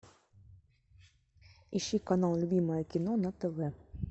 ищи канал любимое кино на тв